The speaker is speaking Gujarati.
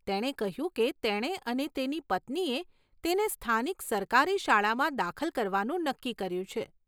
તેણે કહ્યું કે તેણે અને તેની પત્નીએ તેને સ્થાનિક સરકારી શાળામાં દાખલ કરવાનું નક્કી કર્યું છે.